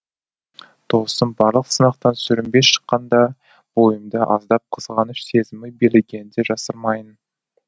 досым барлық сынақтан сүрінбей шыққанда бойымда аздап қызғаныш сезімі билегенін де жасырмайын